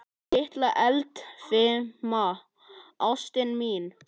Litla eldfima ástin mín.